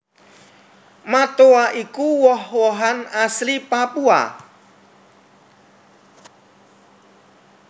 Matoa iku woh wohan asli Papua